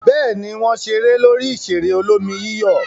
Bẹ́ẹ̀ ni, wọ́n ṣeré lórí ìṣeré olómi-yíyọ̀.